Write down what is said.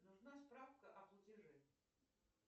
нужна справка о платеже